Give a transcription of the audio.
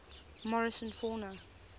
morrison fauna